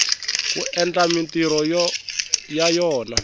ku endla mintirho ya yona